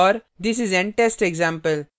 this is an test example